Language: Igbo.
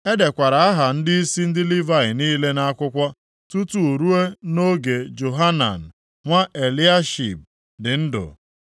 E dekwara aha ndịisi ndị Livayị niile nʼakwụkwọ tutu ruo nʼoge Johanan nwa Eliashib dị ndụ.